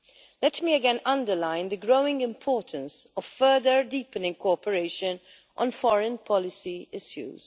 Let me again underline the growing importance of further deepening cooperation on foreign policy issues.